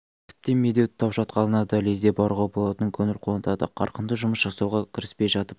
тіптен медеу тау шатқалына да лезде баруға болатыны көңіл қуантады қарқынды жұмыс жасауға кіріспей жатып